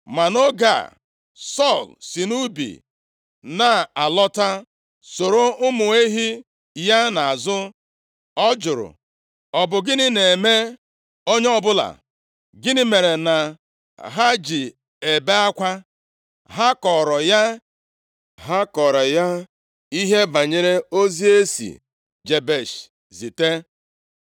Ma nʼoge a, Sọl si nʼubi na-alọta, soro ụmụ ehi ya nʼazụ, ọ jụrụ, “Ọ bụ gịnị na-eme onye ọbụla? Gịnị mere na ha ji ebe akwa?” Ha kọọrọ ya ihe banyere ozi e si Jebesh zite.